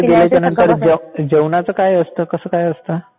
जेवणाचा काय असतं कसं काय असतं?